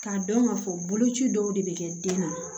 K'a dɔn k'a fɔ boloci dɔw de bɛ kɛ den na